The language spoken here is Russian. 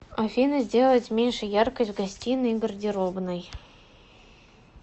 афина сделать меньше яркость в гостиной и гардеробной